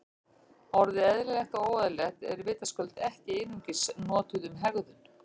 Orðin eðlilegt og óeðlilegt eru vitaskuld ekki einungis notuð um hegðun.